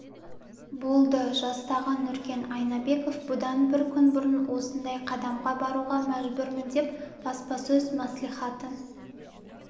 болды жастағы нұркен айнабеков бұдан бір күн бұрын осындай қадамға баруға мәжбүрмін деп баспасөз мәслихатын